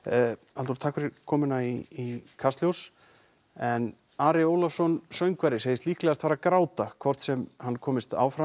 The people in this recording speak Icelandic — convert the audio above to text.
Halldór takk fyrir komuna í Kastljós en Ari Ólafsson söngvari segist líklegast fara að gráta hvort sem hann komist áfram